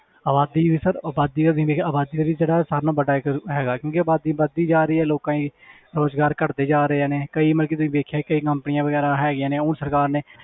ਆਬਾਦੀ ਵੀ sir ਆਬਾਦੀ ਦਾ ਜਿਹੜਾ ਸਾਰਿਆਂ ਨਾਲੋਂ ਵੱਡਾ ਇੱਕ ਹੈਗਾ ਕਿਉਂਕਿ ਆਬਾਦੀ ਵੱਧਦੀ ਜਾ ਰਹੀ ਹੈ ਲੋਕਾਂ ਦੀ ਰੁਜ਼ਗਾਰ ਘੱਟਦੇ ਜਾ ਰਹੇ ਨੇ ਕਈ ਮਤਲਬ ਕਿ ਤੁਸੀਂ ਦੇਖਿਆ ਕਈ ਨੌਕਰੀਆਂ ਵਗ਼ੈਰਾ ਹੈਗੀਆਂ ਨੇ, ਹੁਣ ਸਰਕਾਰ ਨੇ